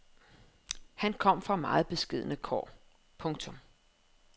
Han kom fra meget beskedne kår. punktum